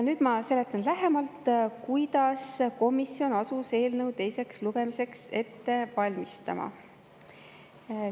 Nüüd ma seletan lähemalt, kuidas komisjon asus eelnõu teiseks lugemiseks ette valmistama.